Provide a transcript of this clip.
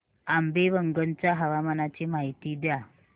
आंबेवंगन च्या हवामानाची माहिती द्या